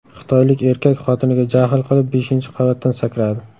Xitoylik erkak xotiniga jahl qilib beshinchi qavatdan sakradi.